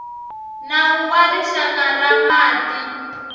nawu wa rixaka wa mati